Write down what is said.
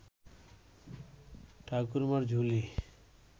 Thakurmar Jhuli